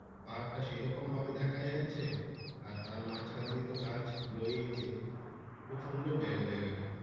পাহাড় টা সেই রকম ভাবে দেখা যাচ্ছে আর তার মাঝখান দিয়ে তো গাছ রয়েছে খুব সুন্দর জায়গা জায়গাটা।